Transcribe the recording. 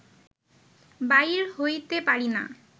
বাইর হইতে পারিনা